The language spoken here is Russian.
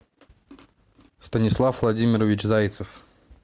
станислав владимирович зайцев